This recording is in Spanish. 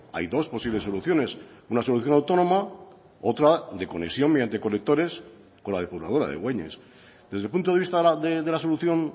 hay dos posibles soluciones una solución autónoma otra de conexión mediante colectores con la depuradora de güeñes desde el punto de vista de la solución